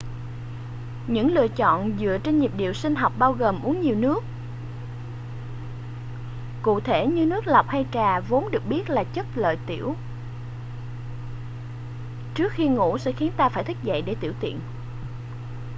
những lựa chọn dựa trên nhịp điệu sinh học bao gồm uống nhiều nước cụ thể như nước lọc hay trà vốn được biết là chất lợi tiểu trước khi ngủ sẽ khiến ta phải thức dậy để tiểu tiện